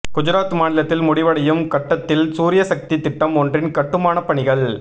குஜராத் மாநிலத்தில் முடிவடையும் கட்டத்தில் சூரியசக்தி திட்டம் ஒன்றின் கட்டுமானப் பணிகள்